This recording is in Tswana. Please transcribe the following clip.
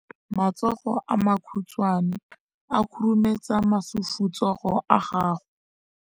matsogo a makhutshwane a khurumetsa masufutsogo a gago